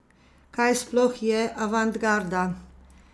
Kaj sploh je avantgarda?